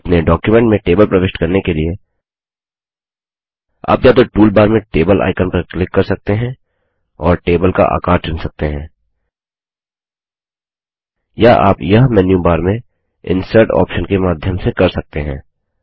अपने डॉक्युमेंट में टेबल प्रविष्ट करने के लिए आप या तो टूलबार में टेबल आइकन पर क्लिक कर सकते हैं और टेबल का आकार चुन सकते हैं या आप यह मेन्यूबार में इंसर्ट ऑप्शन के माध्यम से कर सकते हैं